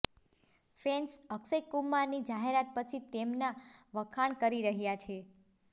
fans Akshay કુમારની જાહેરાત પછી તેમના વખાણ કરી રહ્યાં છે